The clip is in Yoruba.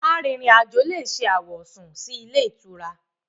Arìnrìn àjò lè ṣe àwọ̀sùn sí ilé-ìtura.